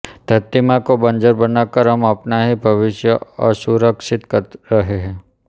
धरती माँ को बंजर बनाकर हम अपना ही भविष्य असुरक्षित कर रहे है